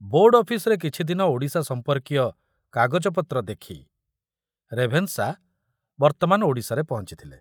Board ଅଫିସ୍‌ରେ କିଛିଦିନ ଓଡ଼ିଶା ସମ୍ପର୍କୀୟ କାଗଜପତ୍ର ଦେଖି ରେଭେନଶା ବର୍ତ୍ତମାନ ଓଡ଼ିଶାରେ ପହଞ୍ଚିଥିଲେ।